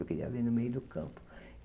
Eu queria ver no meio do campo.